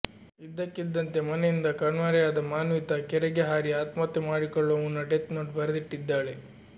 ಇದ್ದಕ್ಕಿದ್ದಂತೆ ಮನೆಯಿಂದ ಕಣ್ಮರೆಯಾದ ಮಾನ್ವಿತ ಕೆರೆಗೆ ಹಾರಿ ಆತ್ಮಹತ್ಯೆ ಮಾಡಿಕೊಳ್ಳುವ ಮುನ್ನ ಡೆತ್ ನೋಟ್ ಬರೆದಿಟ್ಟಿದ್ದಾಳೆ